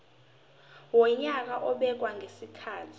wonyaka obekwayo ngezikhathi